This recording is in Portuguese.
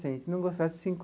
Cem se não gostasse, cinco.